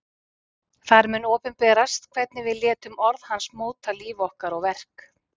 þar mun opinberast hvernig við létum orð hans móta líf okkar og verk